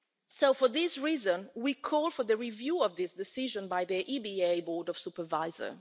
So, for this reason, we call for a review of this decision by the EBA Board of Supervisors.